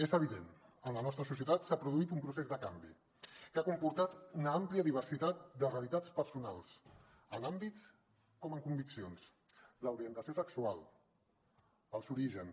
és evident en la nostra societat s’ha produït un procés de canvi que ha comportat una àmplia diversitat de realitats personals en àmbits com en conviccions l’orientació sexual els orígens